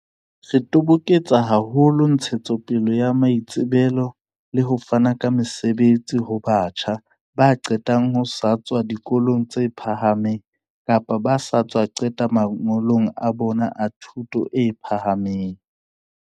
"Re toboketsa haholo ntshetsopele ya maitsebelo le ho fana ka mesebetsi ho batjha ba qetang ho tswa dikolong tse phahameng kapa ba sa tswa qeta mangolo a bona a thuto e pha hameng."